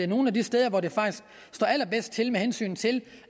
nogle af de steder hvor det faktisk står allerbedst til med hensyn til